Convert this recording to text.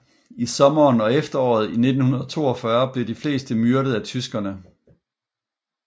I sommeren og efteråret 1942 blev de fleste myrdet af tyskerne